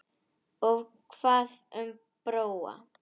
Og hvað um Bróa?